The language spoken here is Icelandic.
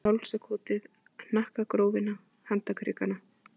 Og kyssti hálsakotið, hnakkagrófina, handarkrikana.